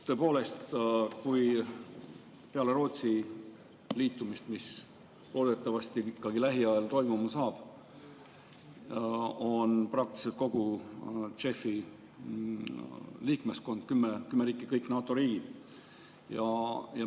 Tõepoolest, peale Rootsi liitumist, mis loodetavasti lähiajal toimuma saab, on kogu JEF‑i liikmeskond, kümme riiki, kõik NATO riigid.